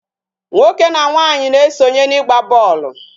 Nwoke na nwaanyị na-esonye n'ịgba bọọlụ